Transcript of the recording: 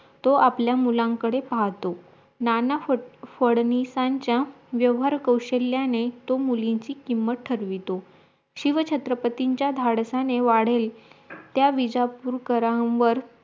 तो आपल्या मुलानंकडे पाहतो नाना फड फाडीनिसांचा व्यवहार कौशल्याने तो मुलींची किंमत ठरवितो शिव छत्रपतींच्या धाडसाने वाढेल त्या विज्यापुरकरांवर